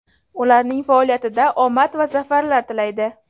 ularning faoliyatida omad va zafarlar tilaydi!.